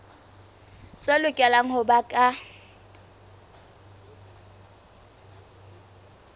tse lokelang ho ba ka